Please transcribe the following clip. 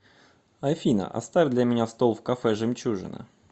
афина оставь для меня стол в кафе жемчужина